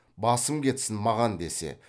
басым кетсін маған десе